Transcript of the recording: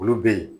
Olu bɛ ye